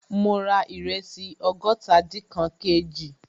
Ma ra ìrẹsì ọgọ́tadinkan kg